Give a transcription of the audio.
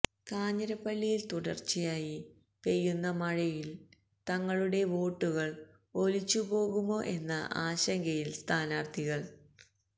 കാഞ്ഞിരപ്പള്ളിയിൽ തുടർച്ചയായി പെയുന്ന മഴയിൽ തങ്ങളുടെ വോട്ടുകൾ ഒലിച്ചു പോകുമോ എന്ന ആശങ്കയിൽ സ്ഥാനാർഥികൾ